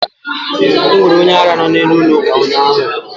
Enwere onye ara no n'iru ụlọ ụka ụnyaahụ